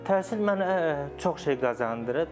Təhsil mənə çox şey qazandırıb.